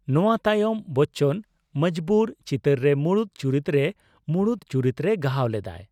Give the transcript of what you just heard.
ᱱᱚᱣᱟ ᱛᱟᱭᱚᱢ ᱵᱚᱪᱪᱚᱱ ' ᱢᱚᱡᱵᱩᱨ ' ᱪᱤᱛᱟᱹᱨ ᱨᱮ ᱢᱩᱲᱩᱫ ᱪᱩᱨᱤᱛ ᱨᱮ ᱢᱩᱲᱩᱫ ᱪᱩᱨᱤᱛ ᱨᱮ ᱜᱟᱦᱟᱣ ᱞᱮᱫᱟᱭ ᱾